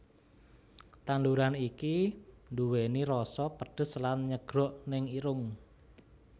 Tandhuran iki nduweni roso pedhes lan nyegrok neng irung